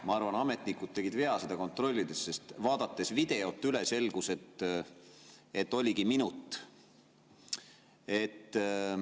Ma arvan, et ametnikud tegid vea seda kontrollides, sest vaadates videot üle, selgus, et oligi minut.